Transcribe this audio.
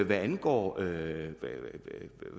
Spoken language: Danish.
hvad angår